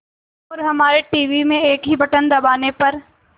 और हमारे टीवी में एक ही बटन दबाने पर